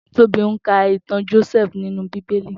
Tobi n kà itàn Jósèfú ninú Bibéli